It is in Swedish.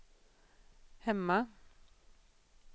hemma